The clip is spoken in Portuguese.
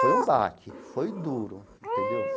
Foi um baque, foi duro, entendeu?